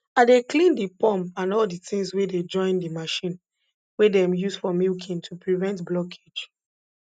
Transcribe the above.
i dey clean de pump and all de tins wey dey join de machine wey dem use for milking to prevent blockage